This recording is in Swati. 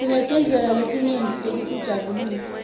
sinetindlela letinyeti tekutijabulisa